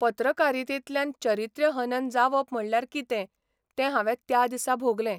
पत्रकारितेंतल्यान चारित्र्यहनन जावप म्हणल्यार कितें तें हांवे त्या दिसा भोगलें...